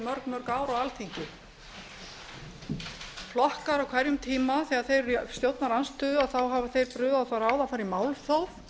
ár á alþingi flokkar á hverjum tíma þegar þeir eru í stjórnarandstöðu hafa þeir brugðið á það ráð að fara í málþóf